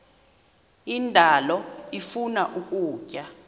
indalo ifuna ukutya